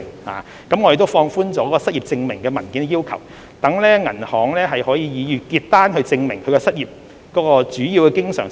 我們亦已放寬對失業證明文件的要求，容許以銀行月結單證明申請人的主要經常收入來源。